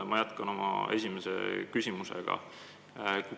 Ma jätkan oma esimest küsimust.